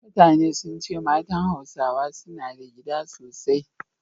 Mutane sun ce matan Hausawa suna da gida sosai